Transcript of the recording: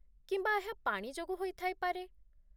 କିମ୍ବା ଏହା ପାଣି ଯୋଗୁଁ ହୋଇଥାଇପାରେ?